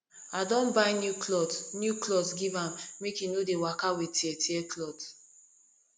i don buy new clot new clot give am make e no dey waka wit teartear clot